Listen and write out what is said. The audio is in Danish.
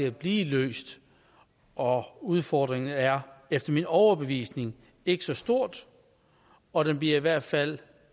at blive løst og udfordringen er efter min overbevisning ikke så stor og den bliver i hvert fald